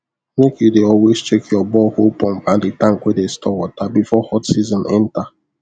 make u dey always check your borehole pump and the tank wey dey store water before hot season enter